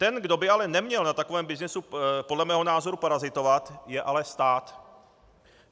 Ten, kdo by ale neměl na takovém byznysu podle mého názoru parazitovat, je ale stát.